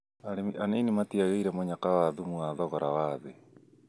Arĩmi anini matiagĩire mũnyaka wa thumu wa thogora wa thĩ